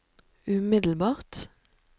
umiddelbart